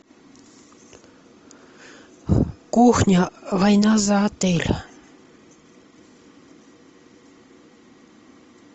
кухня война за отель